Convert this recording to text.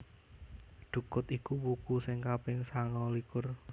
Dhukut iku wuku sing kaping sangalikur